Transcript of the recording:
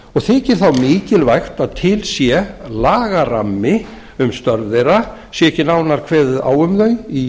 og þykir þá mikilvægt að til sé lagarammi um störf þeirra sé ekki nánar kveðið á um þau í